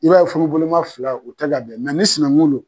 I b'a ye furuboloma fila u tɛ ka bɛn ni sinankunw do